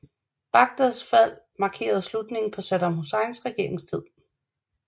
Bagdads fald markerede slutningen på Saddam Husseins regeringstid